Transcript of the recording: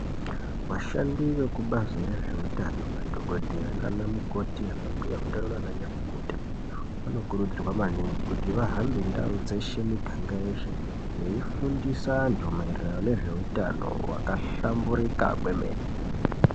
Vashandi vekubazi rezveutano, madhokodheya nana mukoti ana mbuya utano nana nyamukuta vanokurudzirwa maningi kuti vahambe ndau dzeshe, miganga yeshe veifundisa antu maererano nezveutano hwakahlamburika kwemene.